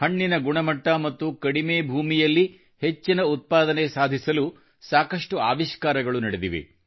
ಹಣ್ಣಿನ ಗುಣಮಟ್ಟ ಮತ್ತು ಕಡಿಮೆ ಭೂಮಿಯಲ್ಲಿ ಹೆಚ್ಚಿನ ಉತ್ಪಾದನೆ ಸಾಧಿಸಲು ಸಾಕಷ್ಟು ಆವಿಷ್ಕಾರಗಳು ನಡೆದಿವೆ